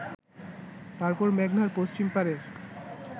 তারপর মেঘনার পশ্চিম পারের